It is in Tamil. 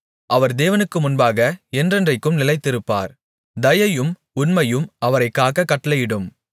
அவர் தேவனுக்கு முன்பாக என்றென்றைக்கும் நிலைத்திருப்பார் தயையும் உண்மையும் அவரைக் காக்கக் கட்டளையிடும்